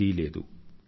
అని భావం